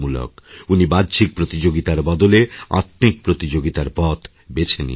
উনি বাহ্যিক প্রতিযোগিতার বদলে আত্মিক প্রতিযোগিতারপথ বেছে নিয়েছেন